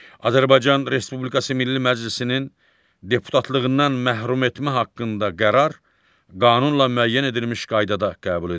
Azərbaycan Respublikası Milli Məclisinin deputatlığından məhrum etmə haqqında qərar qanunla müəyyən edilmiş qaydada qəbul edilir.